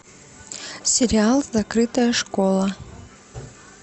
сериал закрытая школа